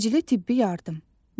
Təcili tibbi yardım.